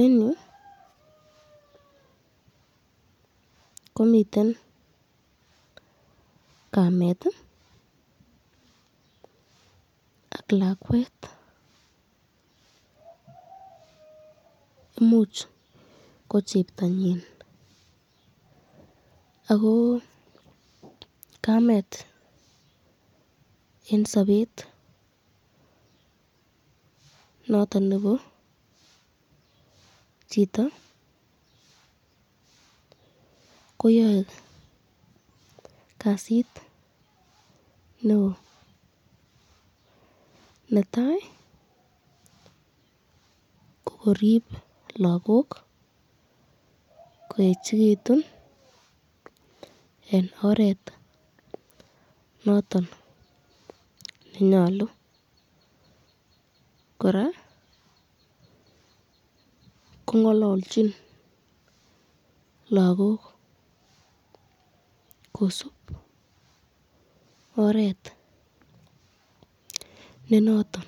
Eng yu komiten kamet ak lakwet imuch ko cheptonyin ako kamet eng sabet noton nebo chito koyae kasit neo , netai ko korib lakok koechikitun eng oret nondon nenyalu, koraa kongalalchi lagok kosubot oret nenoton,